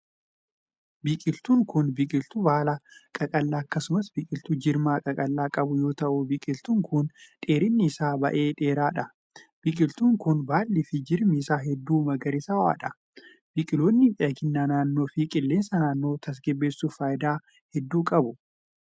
Biqiltuun kun, biqiltuu baala qaqallaa akkasumas biqiltuu jirma qaqallaa qabu yoo ta'u, biqiltuun kun dheerinni isaa baay'ee dheeraa dha. Biqiltuun kun, baalli fi jirmi isaa hedduu magariisawaa dha. Biqiloonni miidhagina naannoo fi qilleensa naannoo tasgabbeessuuf faayidaa hedduu qabu.